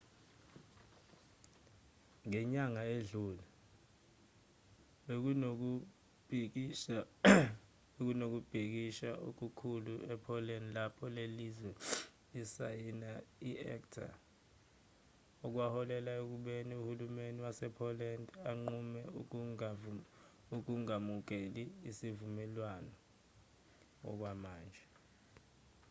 ngenyanga edlule bekunokubhikisha okukhulu e-poland lapho lelozwe lisayina i-acta okwaholela ekubeni uhulumeni wase-poland unqume ukungamukeli isivumelwano okwamanje